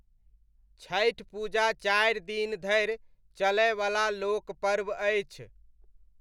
छठि पूजा चारि दिन धरि चलयवला लोकपर्व अछि।